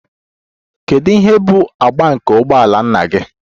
Kedu ihe bụ agba nke ụgbọ ala nna gị?